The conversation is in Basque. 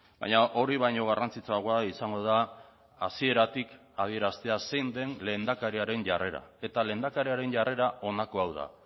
baina hori baino garrantzitsuagoa izango da hasieratik adieraztea zein den lehendakariaren jarrera eta lehendakariaren jarrera honako hau da